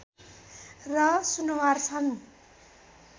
र सुनुवार छन्